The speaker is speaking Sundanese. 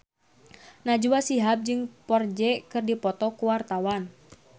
Najwa Shihab jeung Ferdge keur dipoto ku wartawan